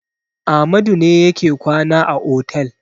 Amadu ne yake kwana a otel.